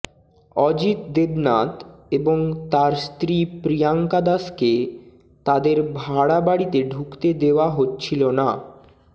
অজিত দেবনাথ এবং তার স্ত্রী প্রিয়াঙ্কা দাসকে তাঁদের ভাড়া বাড়িতে ঢুকতে দেওয়া হচ্ছিল না